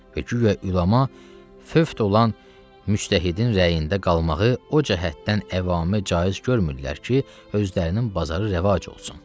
və güya üləma fövt olan müçtəhidin rəyində qalmağı o cəhətdən əvamə caiz görmürlər ki, özlərinin bazarı rəvac olsun.